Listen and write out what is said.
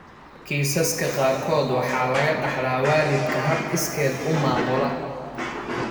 Kiisaska qaarkood waxa laga dhaxlaa waalidka hab iskeed u maamula.